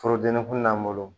Forodenninkun langolo